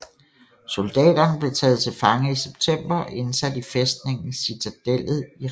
Soldaterne blev taget til fange i september og indsat i fæstningen Citadellet i Rabat